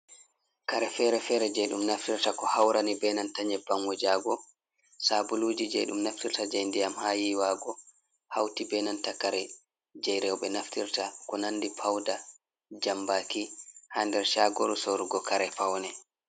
Kare fere-fere je ɗum naftirta ko haurani be nanta nyebbam wujago sabuluji je ɗum naftirta jei ndiyam ha yiwago hauti benan takare jei rewbe naftirta ko nandi pauda jambaki ha nder shagoru sorugo kare paune.